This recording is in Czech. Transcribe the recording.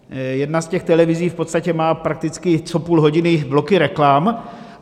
Jedna z těch televizí v podstatě má prakticky co půl hodiny bloky reklam.